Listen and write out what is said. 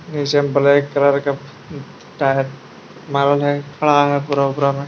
नीचे में black colour के में।